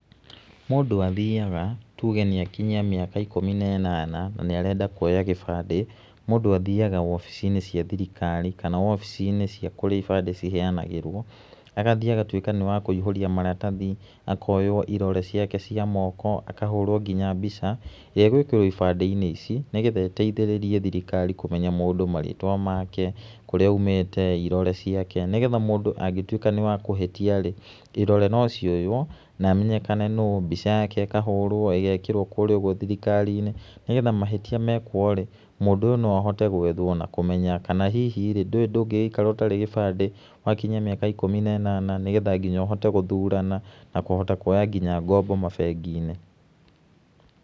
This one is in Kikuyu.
Mũndũ athiaga, tuge nĩ akinyia mĩaka ikũmi na ĩnana, na nĩ arenda kuoya gĩbandĩ, mũndũ athiaga wobici-inĩ cia thirikari, kana wobici-nĩ cia kũrĩa ibandĩ ciheanagĩrwo, agathiĩ agatuĩka nĩ wa kũihũria maratathi, akoywo irore ciake cia moko, akoywo nginya mbica, ĩrĩa ĩgwĩkĩrwo ibandĩ-inĩ ici nĩ getha ĩteithĩrĩrie thirikari kũmenya mũndũ marĩtwa make, kũríĩ aumĩte, irore ciake, nĩ getha mũndũ angĩtuĩka nĩ wa kũhĩtia rĩ, irore nío cioywo na amenyekane nũ, mbica yake ĩkahũrwo ĩgekĩrwo kũrĩa ũgo thirikari-inĩ nĩ getha mahĩtia mekwo rĩ, mũndũ ũyũ no ahote gwethwo na kũmenya kana hihi, ndũĩ ndũngĩgĩikara ũtarĩ gĩbandĩ wakinyia mĩaka ikũmi na ĩnana nĩ getha ũhite nginya gũthurana na kũhota kuoya nginya ngombo mabengi-inĩ.